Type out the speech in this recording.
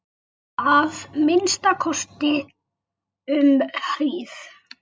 Að minnsta kosti um hríð.